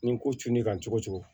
Nin ko cun ne kan cogo cogo